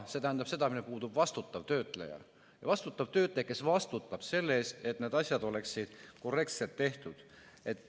See tähendab seda, et puudub vastutav töötleja, kes vastutab selle eest, et need asjad oleksid korrektselt tehtud.